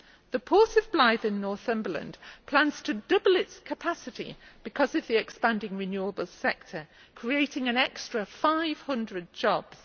The port of Blyth in Northumberland plans to double its capacity because of the expanding renewables sector, creating an extra 500 jobs.